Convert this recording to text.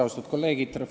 Austatud kolleegid!